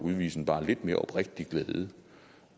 udvise en bare lidt mere oprigtig glæde